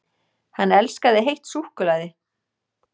HANN ELSKAÐI HEITT SÚKKULAÐI!